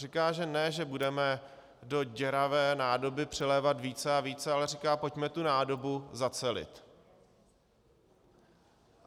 Říká, že ne že budeme do děravé nádoby přilévat více a více, ale říká - pojďme tu nádobu zacelit.